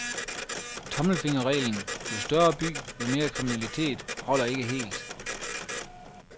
Tommelfingerreglen, jo større by, jo mere kriminalitet, holder ikke helt.